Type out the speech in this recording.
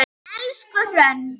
Elsku Hrönn.